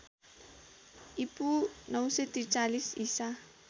ईपू ९४३ ईसा